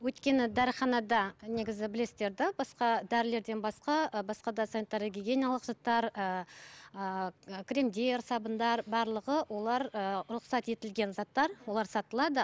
өйткені дәріханада негізі білесіздер да басқа дәрілерден басқа басқа да санитарлық гигиеналық заттар ыыы кремдер сабындар барлығы олар ыыы рұқсат етілген заттар олар сатылады